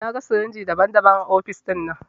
Na gan sirinji daban-daban a ofis dinnan.